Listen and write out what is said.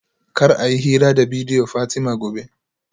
Kar a yi hira da bidiyo Fatima gobe